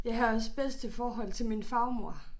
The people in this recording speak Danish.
Jeg havde også bedste forhold til min farmor